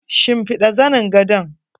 Shimfiɗa zanin gadon?